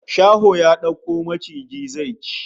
Shaho ya dauko maciji zai ci